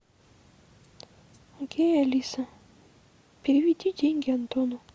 окей алиса переведи деньги антону